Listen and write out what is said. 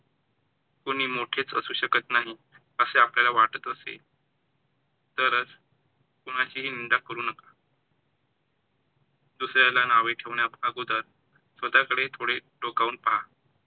कोणी मोठे असूच शकत नाही असे आपल्याला वाटतात असेल, तर कोणाचीही निंदा करू नका. दुसऱ्याला नावे ठेवणे अगोदर स्वतःकडे थोडे डोकावून पाहा.